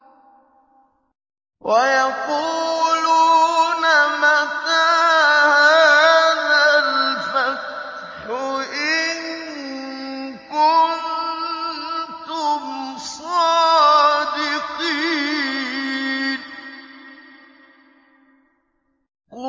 وَيَقُولُونَ مَتَىٰ هَٰذَا الْفَتْحُ إِن كُنتُمْ صَادِقِينَ